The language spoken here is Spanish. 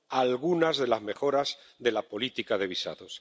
algunas de las mejoras de la política de visados.